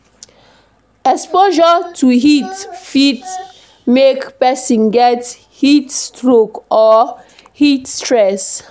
exposure to heat fit make person get heat stroke or heat stress